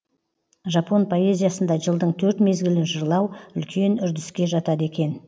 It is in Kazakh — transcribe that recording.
жапон поэзиясында жылдың төрт мезгілін жырлау үлкен үрдіске жатады екен